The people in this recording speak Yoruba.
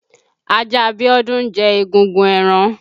Ajá Bíọ́dún ń jẹ egungun ẹran.